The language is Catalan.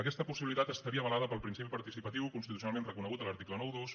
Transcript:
aquesta possibilitat estaria avalada pel principi participatiu constitucionalment reconegut a l’article noranta dos